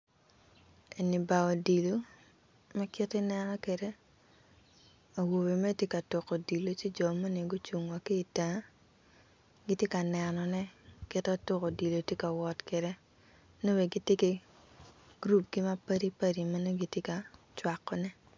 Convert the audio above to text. Eni bar odilo ma kit ma nen kwede awobe mere gitye ka tuko odilo ci jo moni tye ocung wa ki i tenge gitye kaneno ne kit ma tuko odilo tye ka wot kwede nongo bene gitye ki gurup ma padi padit ma gitye ka cwak.